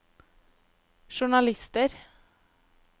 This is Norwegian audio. journalister